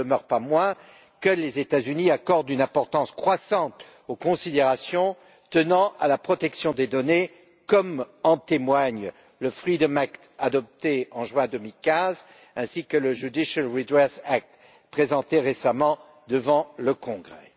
Il n'en demeure pas moins que les États Unis accordent une importance croissante aux considérations tenant à la protection des données, comme en témoignent le Freedom Act adopté en juin 2015, ainsi que le Judicial Redress Act présenté récemment devant le Congrès.